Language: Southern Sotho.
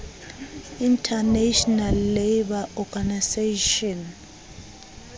international labour organization